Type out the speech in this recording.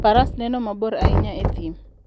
Faras neno mabor ahinya e thim.